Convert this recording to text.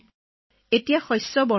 sir ধৰি লওক খেতি পথাৰত খেতি আছিল